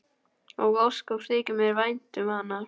Og ósköp þykir mér vænt um hana.